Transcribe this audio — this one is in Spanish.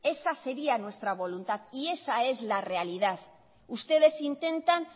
esa sería nuestra voluntad y esa es la realidad ustedes intentan